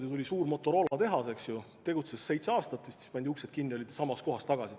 Neile tuli suur Motorola tehas, tegutses vist seitse aastat, siis pandi uksed kinni ja nad olid samas kohas tagasi.